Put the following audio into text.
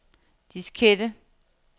diskette